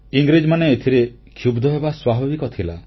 ଇଂରେଜମାନେ ଏଥିରେ କ୍ଷୁବ୍ଧ ହେବା ସ୍ୱାଭାବିକ ଥିଲା